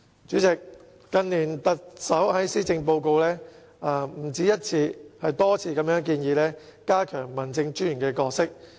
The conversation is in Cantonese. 主席，近年特首在施政報告內不止一次，而是多次建議加強民政專員的角色。